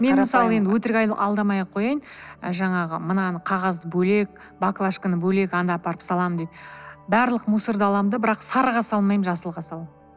мен мысалы енді өтірік алдамаяқ қояйын жаңағы мынаны қағазды бөлек баклажканы бөлек анда апарып саламын деп барлық мусорды аламын да бірақ сарыға салмаймын жасылға саламын